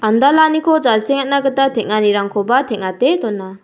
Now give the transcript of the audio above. andalaniko jasengatna gita teng·anirangkoba teng·ate dona.